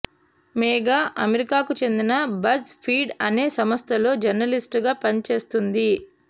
మేఘా అమెరికాకు చెందిన BuzzFeed అనే సంస్థలో జర్నలిస్ట్ గా పనిచేస్తోంది